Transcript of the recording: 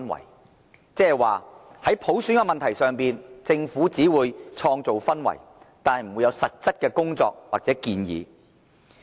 換言之，在普選問題上，政府只會創造氛圍，但不會有實質的工作或建議。